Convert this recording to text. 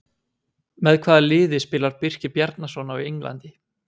Með hvaða liði spilar Birkir Bjarnason á Englandi?